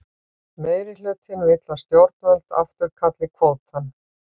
Meirihlutinn vill að stjórnvöld afturkalli kvótann